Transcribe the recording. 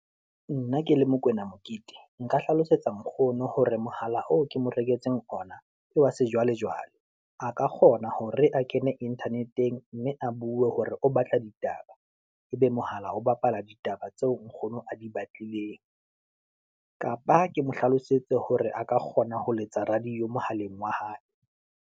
Nna ke le Mokwena Mokete, nka hlalosetsa nkgono hore mohala oo ke mo reketseng ona ke wa sejwalejwale, a ka kgona hore a kene Internet-eng mme a bue hore o batla ditaba, ebe mohala ho bapala ditaba tseo nkgono a di batlileng, kapa ke mo hlalosetse hore a ka kgona ho letsa radio mohaleng wa hae.